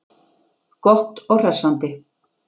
Gott og hressandi.